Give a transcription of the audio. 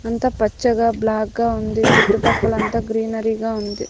అంత పచ్చగా బ్లాక్ గా ఉంది చుట్టుపక్కల అంతా గ్రీనరీగా ఉంది.